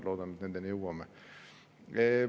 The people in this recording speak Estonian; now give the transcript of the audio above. Loodan, et me selleni jõuame.